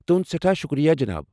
تہنٛد سٮ۪ٹھاہ شکریہ جناب۔